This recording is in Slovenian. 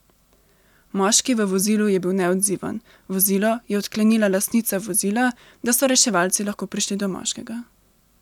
Moški v vozilu je bil neodziven, vozilo je odklenila lastnica vozila, da so reševalci lahko prišli do moškega.